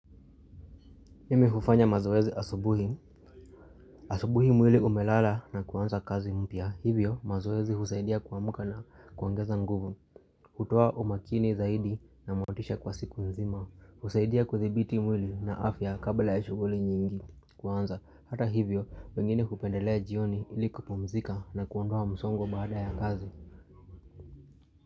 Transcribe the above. Mimi hufanya mazoezi asubuhi. Asubuhi mwili umelala na kuanza kazi mpya. Hivyo mazoezi husaidia kuamka na kuongeza nguvu. Hutoa umakini zaidi na motisha kwa siku nzima. Husaidia kuthibiti mwili na afya kabla ya shughuli nyingi. Kuanza hata hivyo wengine hupendelea jioni ili kupumzika na kuondoa msongo baada ya kazi.